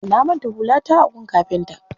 Na manto hulata a gun kafinta.